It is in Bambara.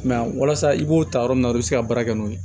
walasa i b'o ta yɔrɔ min na i bi se ka baara kɛ n'o ye